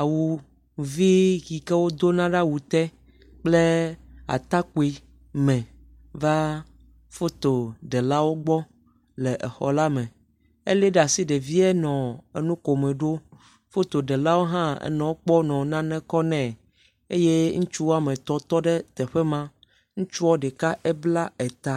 awu vi yi ke wodona ɖe awu te kple atakpui me va fotoɖelawo gbɔ le exɔ la me. Eli ɖe asi ɖevia nɔ enu komo ɖom. Fotoɖelawo hã enɔ ekpɔ enɔ nane kɔm nɛ eye ŋutsu wɔme etɔ̃ tɔ ɖe teƒe ma. Ŋutsua ɖeka ebla eta.